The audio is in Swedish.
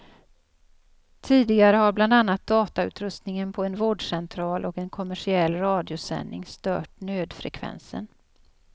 Tidigare har bland annat datautrustningen på en vårdcentral och en kommersiell radiosändning stört nödfrekvensen.